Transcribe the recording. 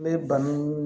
N bɛ banaw